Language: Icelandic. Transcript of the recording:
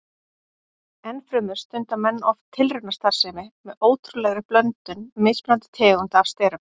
Ennfremur stunda menn oft tilraunastarfsemi með ótrúlegri blöndun mismunandi tegunda af sterum.